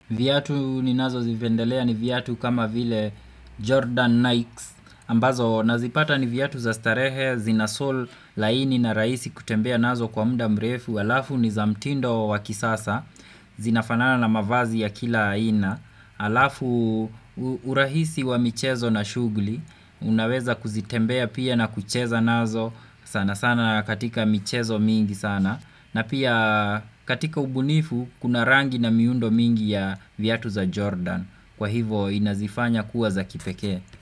Viatu ni nazo zipendelea ni viatu kama vile Jordan Nikes ambazo nazipata ni viattu za starehe zinasol laini na raisi kutembea nazo kwa mda mrefu Alafu ni zamtindo wa kisasa zinafanana na mavazi ya kila aina Alafu urahisi wa michezo na shugli Unaweza kuzitembea pia na kucheza nazo sana sana katika michezo mingi sana na pia katika ubunifu kuna rangi na miundo mingi ya viatu za Jordan kwa hivo inazifanya kuwa za kipeke.